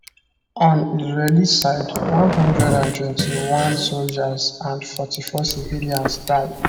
on israeli side 121 soldiers and 44 civilians die